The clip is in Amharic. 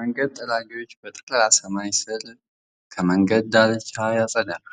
መንገድ ጠራጊዎች በጠራ ሰማያዊ ሰማይ ስር ከመንገዱ ዳርቻ ሣር ያጭዳሉ።